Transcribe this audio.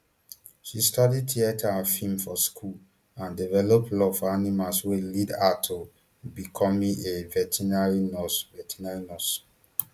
she study theatre and film for school and develop love for animals wey lead her to becoming a veterinary nurse veterinary nurse